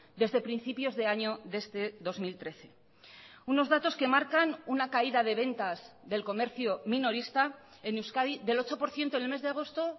desde principios de año de este dos mil trece unos datos que marcan una caída de ventas del comercio minorista en euskadi del ocho por ciento en el mes de agosto